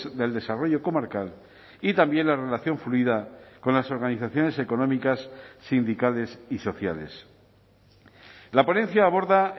del desarrollo comarcal y también la relación fluida con las organizaciones económicas sindicales y sociales la ponencia aborda